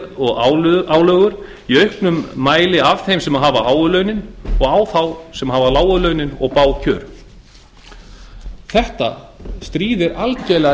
og álögur í auknum mæli af þeim sem hafa háu launin og á þá sem hafa lágu launin og bág kjör þetta stríðir algjörlega